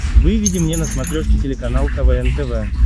выведи мне на смотрешке телеканал квн тв